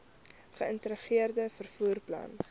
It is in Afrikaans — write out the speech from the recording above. geïntegreerde vervoer plan